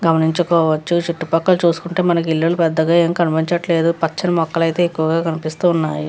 గమనించుకోవచ్చు చుట్టుపక్కల చూసుకుంటే మనకి పెద్దగా ఏమీ కనిపించట్లేదు. పచ్చని మొక్కలైతే ఎక్కువగా కనిపిస్తూ ఉన్నాయి.